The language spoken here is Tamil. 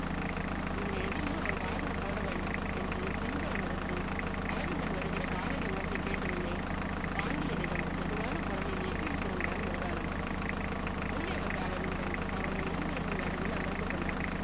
இதுலா எதையும் அவன் காதுல போடவேண்டாம் என்று பின்புறம் இருந்து ஆதிமன் வருக்கிற காலடி ஓசை கேட்டதுமே, பாண்டியனிடம் மெதுவாக குரலில் எசிவித்திருந்தான் முருகானந்தம். உள்ளே வந்தார் அரவிந்தன் அவர்கள் இருவர்க்கும் நடுவில் அமர்ந்துகொண்டான்